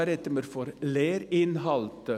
Da sprechen wir von den Lehrinhalten.